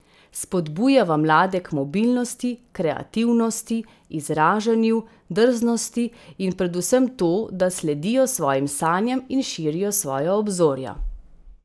Spodbujava mlade k mobilnosti, kreativnosti, izražanju, drznosti in predvsem to, da sledijo svojim sanjam in širijo svoja obzorja.